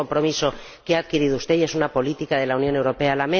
Es un compromiso que ha adquirido usted y es una política de la Unión Europea.